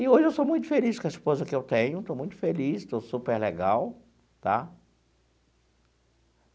E hoje eu sou muito feliz com a esposa que eu tenho, estou muito feliz, estou super legal, tá?